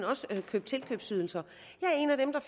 også tilkøbsydelser jeg er en af dem der